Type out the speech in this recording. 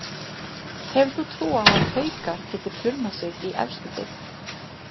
Hefur þú trú á að Haukar geti plummað sig í efstu deild?